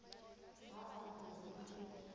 ha ba re ho se